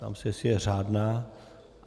Ptám se, jestli je řádná.